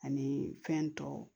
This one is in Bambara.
Ani fɛn tɔw